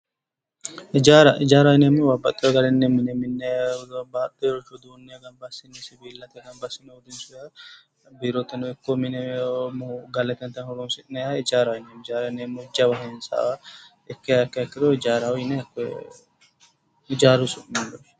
Hijaara, hijaaraho yinneemmohu babbaxehagarinni mine minne babbaxeworicho gamba assiine siwillate gamba assine urrinsonniha biiroteno ikko mine horonsineemmoha, galateno horonsi'neemmoha hijaaraho yinneemmo, hijaaraho yaa jawa hintsa ikkiha ikkiro hijaaraho yine hijaaru su'minni woshshinneemmo.